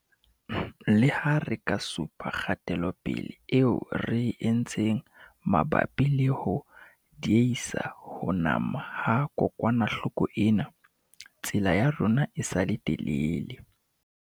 Leha re ka supa kgatelopele eo re e entseng mabapi le ho diehisa ho nama ha kokwanahloko ena, tsela ya rona e sa le telele.